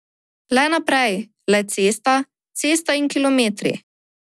Le naprej, le cesta, cesta in kilometri.